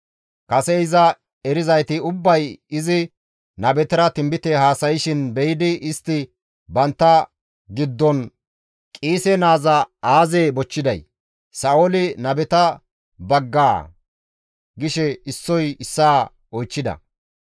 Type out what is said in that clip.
Kase iza erizayti ubbay izi nabetara tinbite haasayshin be7idi istti bantta giddon, «Qiise naaza aazee bochchiday? Sa7ooli nabeta baggaa?» gishe issoy issaa oychchida.